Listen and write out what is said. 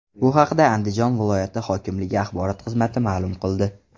Bu haqda Andijon viloyati hokimligi axborot xizmati maʼlum qildi .